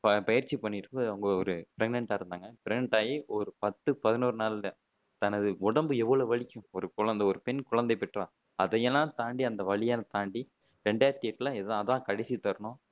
பயிற்சி பண்ணிருப்ப அவங்க ஒரு pregnant டா இருந்தாங்க pregnant ஆயி ஒரு பத்து பதினோரு நாள் தான் தனது உடம்பு எவ்ளோ வலிக்கும் ஒரு குழந்தை ஒரு பெண் குழந்தை பெற்றால் அதையெல்லாம் தாண்டி அந்த வலியெல்லாம் தாண்டி ரெண்டாயிரத்தி எட்டுல இது அது தான் கடைசி தருணம்